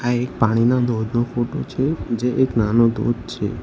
એક પાણીના ધોધનો ફોટો છે જે એક નાનો ધોધ છે.